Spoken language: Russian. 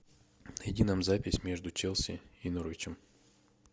найди нам запись между челси и норвичем